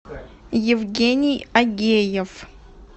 евгений агеев